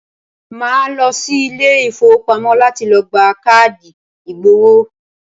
Màá lọ sí Ilé ìfowópamọ́ láti lo gba káàdì ìgbowó